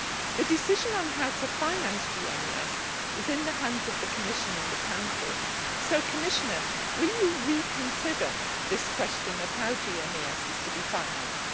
The decision on how to finance GMES is in the hands of the Commission and the Council, so, Commissioner, will you reconsider this question of how GMES is to be financed?